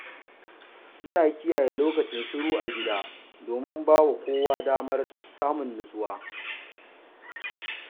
Ina kokarin kiyaye lokacin shiru a gida domin ba wa kowa damar samun natsuwa.